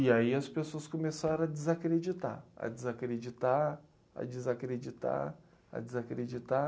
E aí as pessoas começaram a desacreditar, a desacreditar, a desacreditar, a desacreditar.